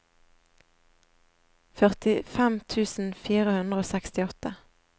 førtifem tusen fire hundre og sekstiåtte